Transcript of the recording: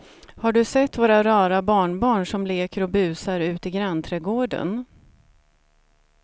Har du sett våra rara barnbarn som leker och busar ute i grannträdgården!